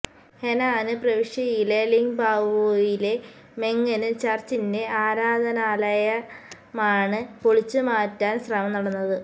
Henan പ്രവിശ്യയിലെ ലിങ്ബാവോയിലെ മെങ്ങന് ചര്ച്ചിന്റെ ആരാധനാലയമാണ് പൊളിച്ചുമാറ്റാന് ശ്രമം നടന്നത്